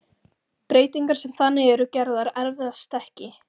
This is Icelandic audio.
Breytingar sem þannig eru gerðar erfast ekki.